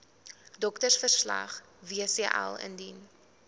doktersverslag wcl indien